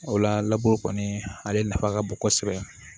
O la laburu kɔni ale nafa ka bon kosɛbɛ